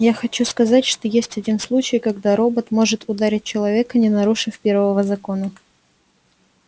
я хочу сказать что есть один случай когда робот может ударить человека не нарушив первого закона